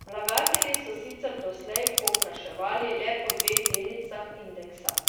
Vlagatelji so sicer doslej povpraševali le po dveh delnicah indeksa.